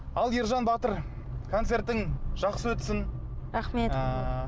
ал ержан батыр концертің жақсы өтсін рахмет ыыы